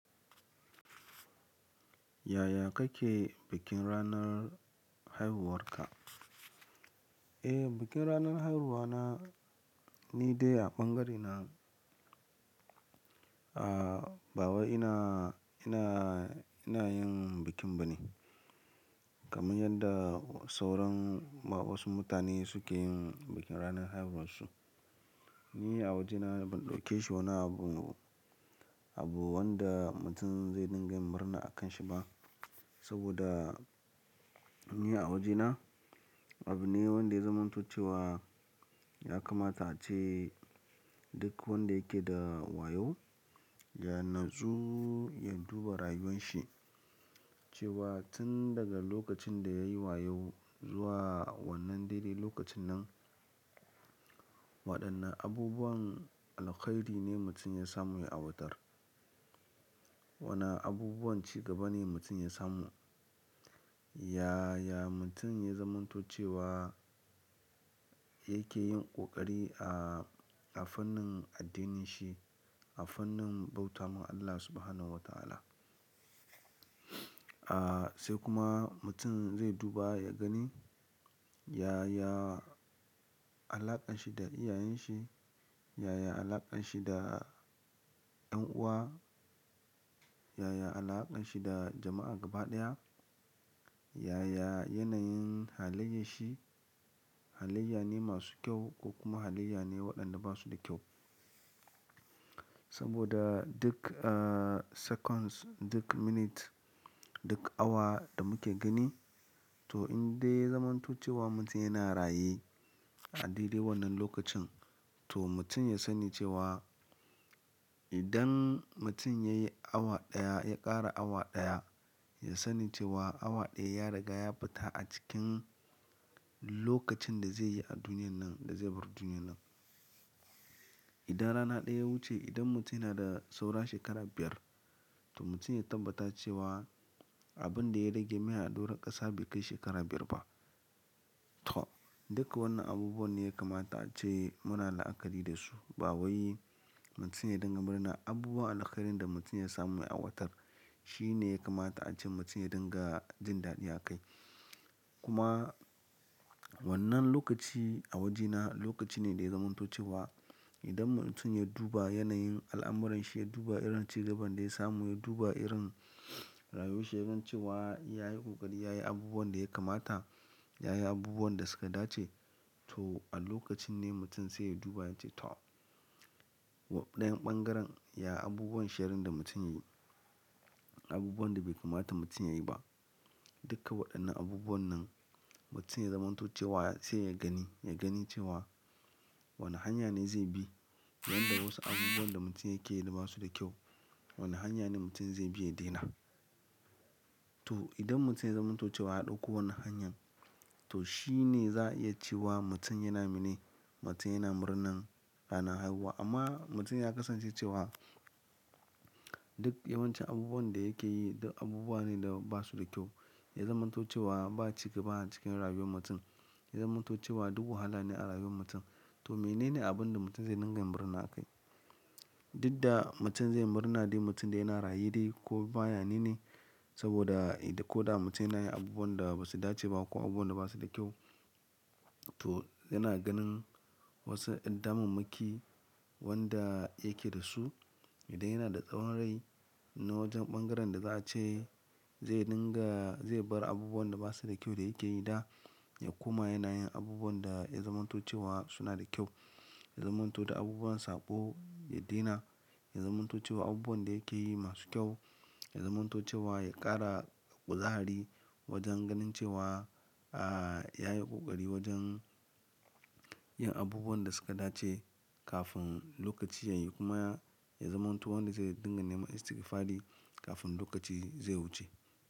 Yaya kake bikin ranar haihuwarka? Eh, bikin ranar haihuwa na, ni dai a bangaren nan, ah, bawai ina, ina, ina yin bikin bane. Kamar yadda sauran wasu mutane sukeyin ranar haihuwarsu. Ni a wajena ban daukeshi wani abu abu wanda mutum zai dinga yin murna akanshi bah saboda ni a wajena, abu ne wanda ya zamanto cewa ya kamata ace duk wanda yake da wayau ya natsu ya duba rayuwan shi. Cewa tun daga lokacin da yayi wayau zuwa wannan daidai lokacin nan, waɗannan abubuwan alkhairi ne mutum ya samu ya aiwatar. Wana abubuwan cigaba ne mutum ya samu. Yaya mutum ya zamanto cewa yake yin ƙoƙari a, a fannin addinin shi, a fannin bauta mun Allah Subhanahu wa ta'ala. Ah, sai kuma mutum zai duba ya gani, yaya alaƙar shi da iyayen shi, yaya alaƙar shi da ƴan uwa, yaya alaƙar shi da jama'a gaba ɗaya, yaya yanayin halayyar shi. Halayya ne masu kyau ko kuma halayya ne waɗanda ba su da kyau. Saboda duk, ah, seconds, duk minute, duk awa da muke gani, to in dai ya zamanto cewa mutum yana raye a daidai wannan lokacin, to mutum ya sani cewa idan mutum yayi awa ɗaya ya ƙara awa ɗaya, ya sani cewa awa ɗaya ya riga ya fita a cikin lokacin da zai yi a duniyan nan, da zai bar duniyan nan. Idan rana ɗaya ya wuce, idan mutum yana da saura shekara biyar, to mutum ya tabbata cewa abun da ya rage mai a ɗora ƙasa bai kai shekara biyar ba. To, duka wannan abubuwan ne ya kamata ace muna la'akari da su. Bawai, mutum ya dinga murna. Abubuwan alkhairi da mutum ya samu ya aiwatar shi ne ya kamata ace mutum ya dinga jin daɗi akai. Kuma wannan lokaci a wajena lokaci ne da ya zamanto cewa idan mutum ya duba yanayin al'amuran shi, ya duba irin cigaban da ya samu, ya duba irin rayuwar shi, yaga cewa ya yi ƙoƙari, ya yi abubuwan da ya kamata, ya yi abubuwan da suka dace, to a lokacin ne mutum sai ya duba ya ce to dayan ɓangaren, ya abubuwan sherrin da mutum yayi, abubuwan da bai kamata mutum yayi ba. Duka waɗannan abubuwan nan mutum ya zamanto cewa sai ya gani, ya gani cewa wane hanya ne zai bi. Yanda wasu abubuwan da mutum yake yi ba su da kyau, wane hanya ne mutum zai bi ya daina. To idan mutum ya zamanto cewa a ɗauko wannan hanyar, to shi ne za a iya cewa mutum yana mene, mutum yana murnan ranar haihuwa. Amma mutum ya ƙasance cewa duk yawancin abubuwan da yake yi duk abubuwa ne da ba su da kyau. Ya zamanto cewa ba cigaba a cikin rayuwar mutum. Ya zamanto cewa duk wahala ne a rayuwar mutum. To menene abin da mutum zai dinga murna akai? Duk da mutum zai murna dai mutum yan raye dai koma yanene saboda koda mutum yana yin abubuwan da basu dace bah ko abubuwan da basu da kyau toh yana ganin y'an damammaki wanda yake dasu. Idan yana da tsawon rai na wajen bangaren da za a ce zai dinga zai bar abubuwan da basu da kyau dayake yi da ya koma yana yin abubuwan da ya zamanto cewa suna da kyau. Ya zamanto da abubuwan saɓo ya daina. Ya zamanto cewa abubuwan da yake yi masu kyau. Ya zamanto cewa ya ƙara ƙuzahari wajen ganin cewa, ah, ya yi ƙoƙari wajen yin abubuwan da suka dace kafin lokaci ya yi. Kuma ya zamanto wanda zai dinga neman istigfari kafin lokaci zai wuce.